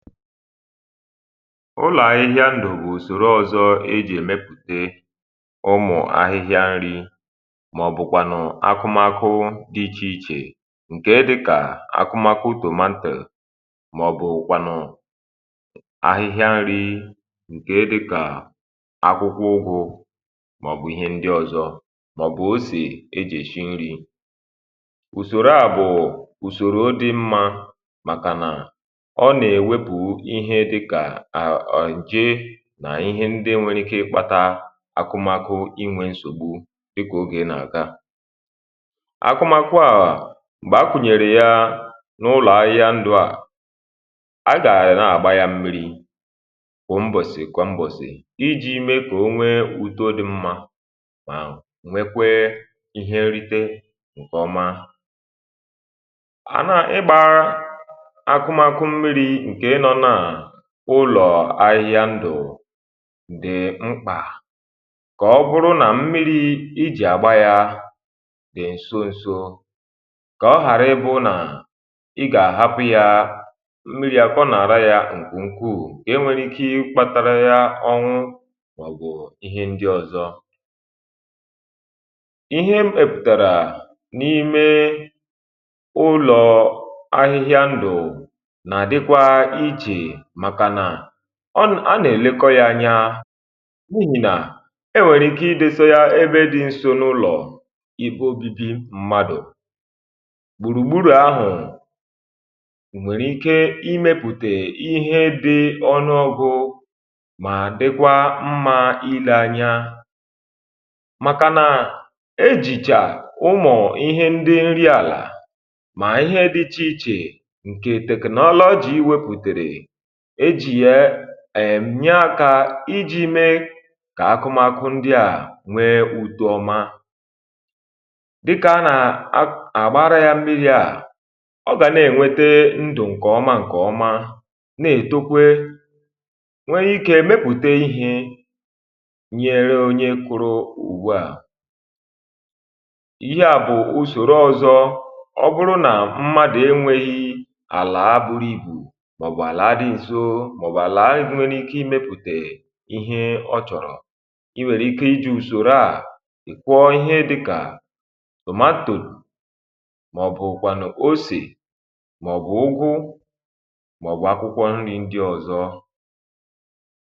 ụlọ̀ ahịhịa ndù bụ̀ ùsòro ọzọ e jì èmepùte ụmụ̀ ahịhịa nri um màọ̀bụ̀kwànụ̀ akụmakụ dị̇ ichè ichè ǹke dịkà akụmakụ tomatoes, màọ̀bụ̀kwànụ̀ ahịhịa nri ǹke dịkà akwụkwọ ụgwọ̇, màọ̀bụ̀ ihe ndi ọ̀zọ, màọ̀bụ̀ osì e jì èshi nri. ùsòro àbụ̀ụ̀ ùsòro dị mmȧ màkà nà ǹje nà ihe ndị nwėrė ike ikpȧtȧ akụmakụ, inwė nsògbu dịkà ogè n’aka akụmakụ. àhụ m̀gbè a kwùnyèrè ya n’ụlọ̀ ahụ̀ ya ndụ̇, à a gà-àrà n’àgba ya mmi̇ri bụ̀ mbọ̀sì kwà mbọ̀sì iji̇ mee kà onwee uto dị mmȧ, mà ǹwe kwee ihe nrite ǹkè ọma. ụlọ̀ ahịhịa ndụ̀ dị̀ mkpà kà ọ bụrụ nà mmiri̇ ijì àgba ya dị̀ ǹso ǹso um kà ọ ghàra ịbụ nà ị gà-àhapụ̇ ya mmiri àkwọ nà-àra ya ǹkùnkùù, gà-e nwere ike ị kpȧtȧrȧ ya ọnwụ. m̀gbè ihe ndị ọ̀zọ ihe m ebùtàrà n’ime ụlọ̀ ahịhịa ndụ̀, màkànà ọ n a nà-èlekọ ya anya n’ihì, nà e nwèrè ike ịdesȯ ya ebe dị̇ nso n’ụlọ̀ ikpe obibi mmadụ̀ gbùrùgburu ahụ̀. nwèrè ike imepùtè ihe dị̇ ọnụ ọ̇gụ̇, mà dịkwa mmȧ ile anya, màkànà ejìchà ụmụ̀ ihe ndị nri àlà, mà ihe dị ichè ichè ǹke technology wepùtèrè èjìye èm yaakȧ ijì mee kà akụmakụ ndị à nwee ùtu ọma, dịkà nà àgbaara ya mmiri̇ à ọ gà nà-ènwete ndụ̀ ǹkèọma ǹkèọma, nà-ètokwe nwee ikė mepùte ihė nyere onye kụrụ ùgwù. ihe à bụ̀ usòrò ọzọ ọbụrụ nà m̀madụ enwėghi̇ àlà buru ibù, màọ̀bụ̀ àla ị bụ̀ nwere ike ịmepùtè ihe ọ chọ̀rọ̀. i nwèrè ike iji̇ ùsòrò a i kwọọ ihe dịkà tomatoes, màọ̀bụ̀ kwànụ̀ osì, màọ̀bụ̀ ụgwụ, màọ̀bụ̀ akwụkwọ nri ndị ọ̀zọ um.